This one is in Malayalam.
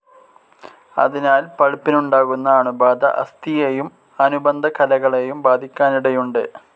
അതിനാൽ പൾപ്പിനുണ്ടാകുന്ന അണുബാധ അസ്ഥിയെയും അനുബന്ധ കലകളെയും ബാധിക്കാനിടയുണ്ട്.